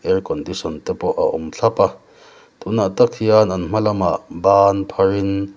air condition te pawh a awm thlap a tûnah tak hian an hma lam ah ban phar in--